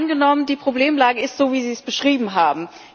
Angenommen, die Problemlage ist so, wie Sie es beschrieben haben.